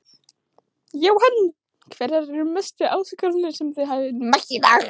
Jóhann: Hverjar eru mestu áskoranirnar sem þið hafið mætt í dag?